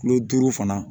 Kulo duuru fana